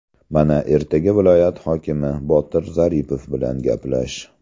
Mana, ertaga viloyat hokimi [Botir Zaripov] bilan gaplash.